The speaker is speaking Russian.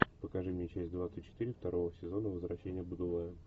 покажи мне часть двадцать четыре второго сезона возвращения будулая